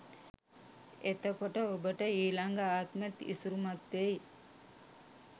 එතකොට ඔබට ඊලග ආත්මෙත් ඉසුරුමත් වෙයි